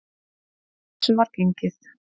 Að þessu var gengið.